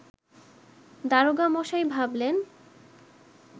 দারোগামশাই ভাবলেন